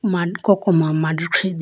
mad koko ma mandikhi de.